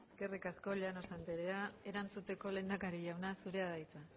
eskerrik asko llanos anderea erantzuteko lehendakari jauna zurea da hitza